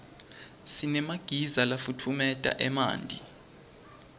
sinemagiza lafutfumeta emanti